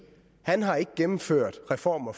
han har gennemført reformer